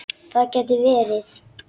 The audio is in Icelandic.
Það gæti verið.